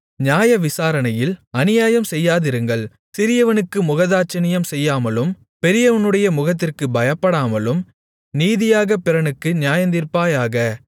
நியாயவிசாரணையில் அநியாயம் செய்யாதிருங்கள் சிறியவனுக்கு முகதாட்சிணியம் செய்யாமலும் பெரியவனுடைய முகத்திற்கு பயப்படாமலும் நீதியாகப் பிறனுக்கு நியாயந்தீர்ப்பாயாக